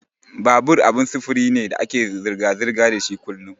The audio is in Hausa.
Babur abin sufuri ne da ake zirga-zirga dashi kullun.